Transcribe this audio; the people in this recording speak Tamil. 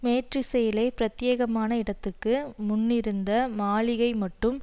மேற்றிசையிலே பிரத்தியேகமான இடத்துக்கு முன்னிருந்த மாளிகை மட்டும்